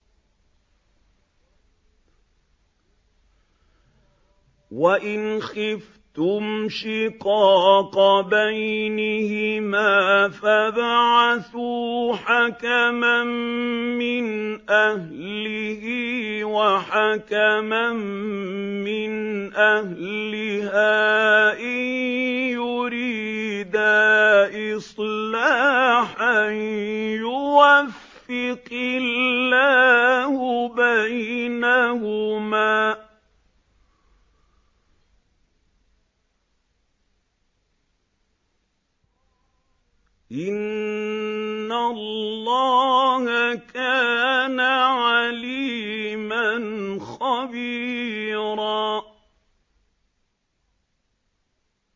وَإِنْ خِفْتُمْ شِقَاقَ بَيْنِهِمَا فَابْعَثُوا حَكَمًا مِّنْ أَهْلِهِ وَحَكَمًا مِّنْ أَهْلِهَا إِن يُرِيدَا إِصْلَاحًا يُوَفِّقِ اللَّهُ بَيْنَهُمَا ۗ إِنَّ اللَّهَ كَانَ عَلِيمًا خَبِيرًا